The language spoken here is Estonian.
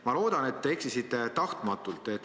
Ma loodan, et te eksisite kogemata.